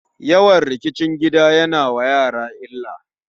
Yawan rikicin gida ya na wa yara illa.